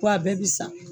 Ko a bɛɛ bɛ san